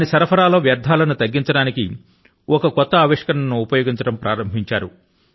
దాని సరఫరా లో వ్యర్థాల ను తగ్గించడానికి ఒక నూతన ఆవిష్కరణ ను ఉపయోగించడం ప్రారంభించారు